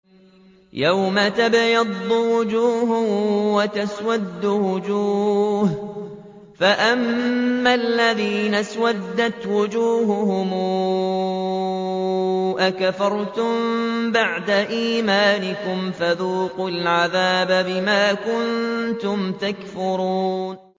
يَوْمَ تَبْيَضُّ وُجُوهٌ وَتَسْوَدُّ وُجُوهٌ ۚ فَأَمَّا الَّذِينَ اسْوَدَّتْ وُجُوهُهُمْ أَكَفَرْتُم بَعْدَ إِيمَانِكُمْ فَذُوقُوا الْعَذَابَ بِمَا كُنتُمْ تَكْفُرُونَ